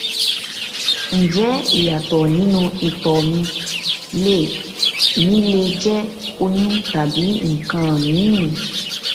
ǹjẹ ìyàtọ nínú ìtọ mi le mi le jẹ oyún tàbí nǹkan míìn